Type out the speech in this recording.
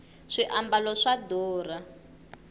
swiambalo swa durha